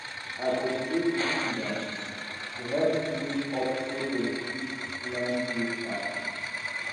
i motivate pikin dem to help clean up so dem fit learn give back.